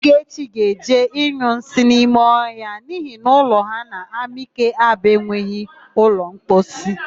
Ogechi ga-eje ịnyụ nsị n'ime ọhịa n'ihi na ụlọ ha n'Amike Aba enweghị ụlọmposi.